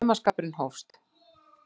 Og saumaskapurinn hófst.